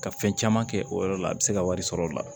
Ka fɛn caman kɛ o yɔrɔ la a bɛ se ka wari sɔrɔ o la